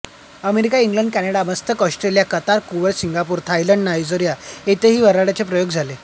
America England Canada Muscat Australia Qatar Kuwait Singapore Thailand Nigeria येथेही वऱ्हाडचे प्रयोग झाले